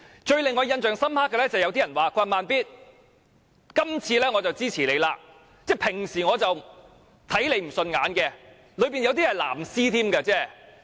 最令我印象深刻的是，有人說："'慢咇'，今次我支持你，即使我平常看你不順眼。